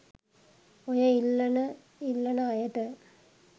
ඔය ඉල්ලන ඉල්ලන අයට